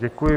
Děkuji.